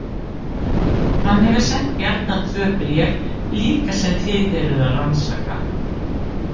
Hann hefur sent Bjarna tvö bréf líka sem þið eruð að rannsaka.